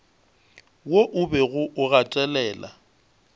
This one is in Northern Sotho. wo o bego o gatelela